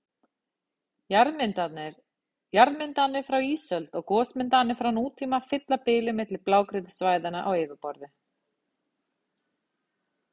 Jarðmyndanir frá ísöld og gosmyndanir frá nútíma fylla bilið milli blágrýtissvæðanna á yfirborði.